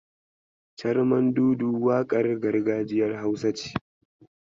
Carmandudu waƙar gargajiyar Hausa ce.